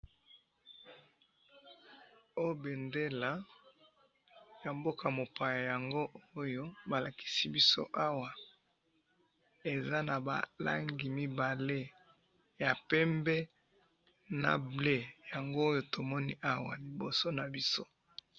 oyo bendele ya mboka mopaya yango oyo ba lakisi biso awa, eza na ba langi mibale, ya pembe na bleu, yango oyo tomoni awa loboso na biso.